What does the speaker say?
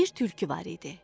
Bir tülkü var idi.